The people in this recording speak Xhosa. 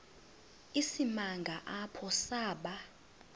isimanga apho saba